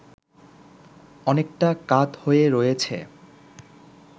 অনেকটা কাত হয়ে রয়েছে